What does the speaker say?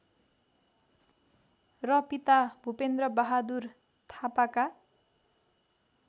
र पिता भूपेन्द्रबहादुर थापाका